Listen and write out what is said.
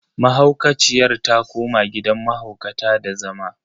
Mahaukaciyar ta koma gidan mahaukata da zama.